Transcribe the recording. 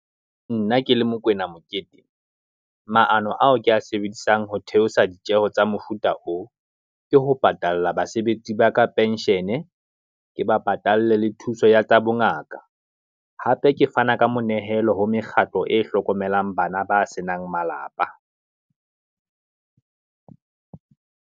Nna ke le Mokwena Mokete, maano ao ke a sebedisang ho theosa ditjeho tsa mofuta o ke ho patalla basebetsi ba ka penshene, ke ba patalle le thuso ya tsa bongaka. Hape ke fana ka monehelo ho mekgatlo e hlokomelang bana ba senang malapa.